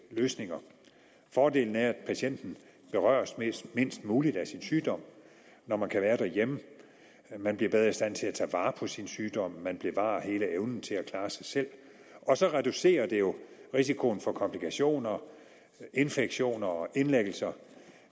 løsninger fordelene er at patienten berøres mindst mindst muligt af sin sygdom når man kan være derhjemme at man bliver bedre i stand til at tage vare på sin sygdom og at man bevarer hele evnen til at klare sig selv og så reducerer det jo risikoen for komplikationer infektioner og indlæggelser